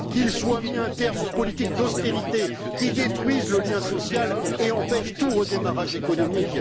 Qu'il soit mis un terme aux politiques d'austérité qui détruisent le lien social et empêchent tout redémarrage économique.